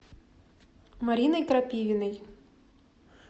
мариной крапивиной